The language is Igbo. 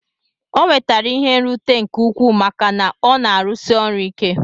O nwetere ihe nrute nke ukwu maka na ọna arụsi ọrụ ike.